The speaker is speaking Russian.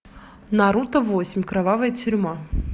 наруто восемь кровавая тюрьма